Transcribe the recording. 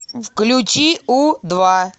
включи у два